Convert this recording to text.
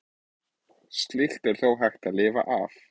Slíkt er þó hægt að lifa af.